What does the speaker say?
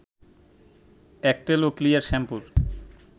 Aktel ও clear শ্যাম্পুর